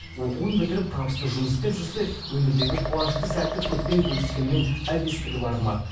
оқуын бітіріп табысты жұмыс істеп жүрсе өмірдегі қуанышты сәтті көппен бөліскеннің әбестігі бар ма